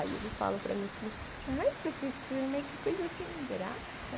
Aí eles falam para mim assim, ai professora, mas que coisa sem graça.